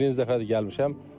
Birinci dəfədir gəlmişəm.